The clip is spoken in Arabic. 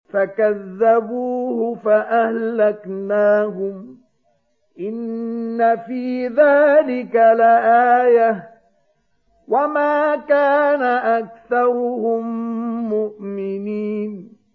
فَكَذَّبُوهُ فَأَهْلَكْنَاهُمْ ۗ إِنَّ فِي ذَٰلِكَ لَآيَةً ۖ وَمَا كَانَ أَكْثَرُهُم مُّؤْمِنِينَ